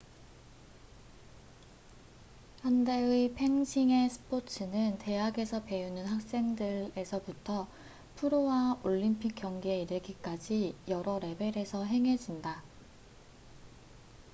현대의 펜싱의 스포츠는 대학에서 배우는 학생들에서부터 프로와 올림픽 경기에 이르기까지 여러 레벨에서 행해진다